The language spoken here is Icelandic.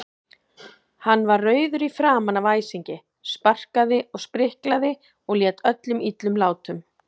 Hann var rauður í framan af æsingi, sparkaði og spriklaði og lét öllum illum látum.